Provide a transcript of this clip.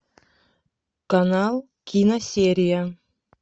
канал киносерия